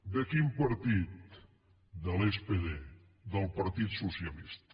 de quin partit de l’spd del partit socialista